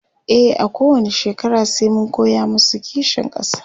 e a kowani shekara sai mun koya masu kishin ƙasa